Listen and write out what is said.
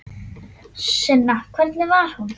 Sunna: Hvernig var hún?